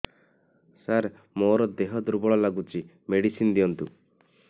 ସାର ମୋର ଦେହ ଦୁର୍ବଳ ଲାଗୁଚି ମେଡିସିନ ଦିଅନ୍ତୁ